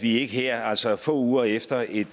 vi ikke her altså få uger efter et